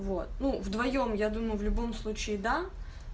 вот ну вдвоём я думаю в любом случае да